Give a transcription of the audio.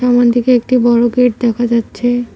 সামনের দিকে একটি বড়ো গেট দেখা যাচ্ছে।